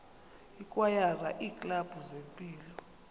ikwayara iiklabhu zempilo